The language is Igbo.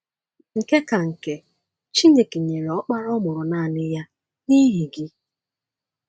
Nke ka nke, Chineke “nyere Ọkpara ọ mụrụ nanị ya” n’ihi gị.